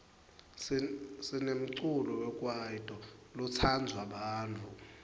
sinemculo wekwaito lotsandwa bantfu